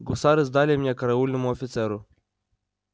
гусары сдали меня караульному офицеру